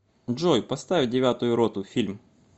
джой поставь девятую роту фильм